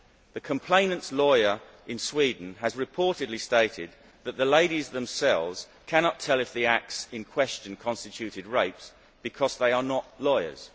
The complainant's lawyer in Sweden has reportedly stated that the ladies themselves cannot tell if the acts in question constituted rapes, because they are not lawyers.